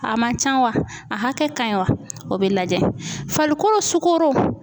A man ca wa a hakɛ ka ɲi wa o bɛ lajɛ farikolo sukaro.